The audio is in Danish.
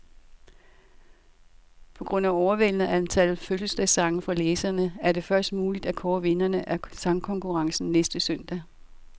På grund af overvældende antal fødselsdagssange fra læserne, er det først muligt at kåre vinderne af sangkonkurrencen næste søndag.